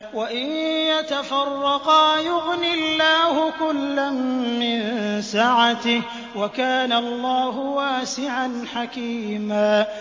وَإِن يَتَفَرَّقَا يُغْنِ اللَّهُ كُلًّا مِّن سَعَتِهِ ۚ وَكَانَ اللَّهُ وَاسِعًا حَكِيمًا